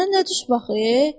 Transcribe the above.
Sənə nə düşüb axı?